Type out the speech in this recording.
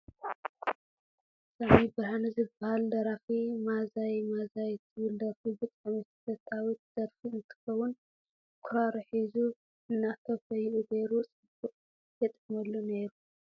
ሳሚ ብርሃነ ዝበሃል ደራፊ ማዛይ ማዛይ ትብል ደርፊ ብጣዕሚ ተፈታዊት ደርፉ እንትከዉን ብክራሩ ሒዙ እና ኮፍይኡ ገይሩ ጽብቅ የጥዕመሉ ነይሩ።